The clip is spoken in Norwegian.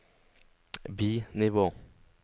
bi-nivå